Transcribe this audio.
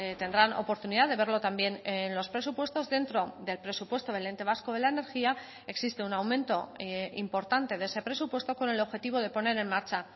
tendrán oportunidad de verlo también en los presupuestos dentro del presupuesto del ente vasco de la energía existe un aumento importante de ese presupuesto con el objetivo de poner en marcha